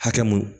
Hakɛ mun